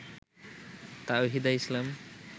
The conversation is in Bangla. তাওহিদা ইসলাম